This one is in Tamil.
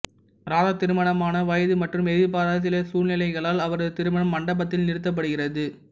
ராதா திருமணமான வயது மற்றும் எதிர்பாராத சில சூழ்நிலைகளால் அவரது திருமணம் மண்டபத்தில் நிறுத்தப்படுகிறது